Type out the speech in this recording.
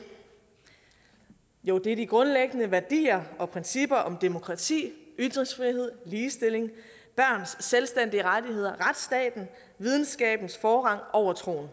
jo det er de grundlæggende værdier og principper om demokrati ytringsfrihed ligestilling børns selvstændige rettigheder retsstaten og videnskabens forrang over troen